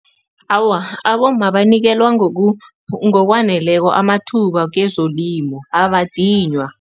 Awa, abomma banikelwa ngokwaneleko amathuba kezolimo, abadinywa.